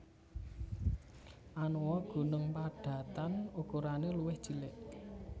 Anoa gunung padatan ukurane luwih cilik